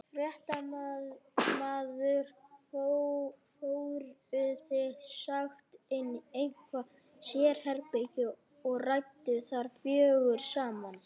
Fréttamaður: Fóruð þið sem sagt inn í eitthvað sérherbergi og rædduð þar fjögur saman?